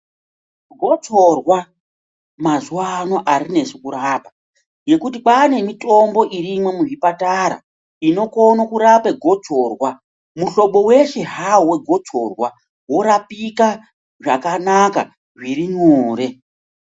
Gotsorwa mazuwa ano arinesi kurapa ngekuti kwaane mitombo irimwo muzvipatara inokone kurape gotsorwa muhlobo weshe hawo wegotsorwa worapika zvakanaka zvirinyore.